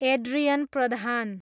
Adrian Pradhan